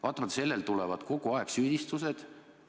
Vaatamata sellele tulevad kogu aeg süüdistused.